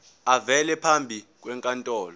avele phambi kwenkantolo